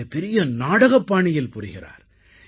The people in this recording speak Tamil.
இதை பெரிய நாடக பாணியில் புரிகிறார்